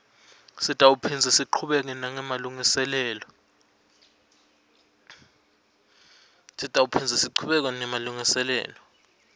sitawuphindze sichubeke nemalungiselelo